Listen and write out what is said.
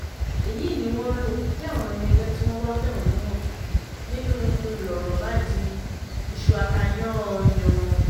èyí ni wọ́n lò bí àwọn ọmọ ẹgbẹ́ tí wọ́n wàá fẹ̀hónú hàn nínú ń lọ̀rọ̀ bá di iṣu-ata-yan-an-yàn-án